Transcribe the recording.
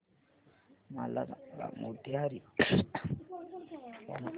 मला सांगा मोतीहारी चे हवामान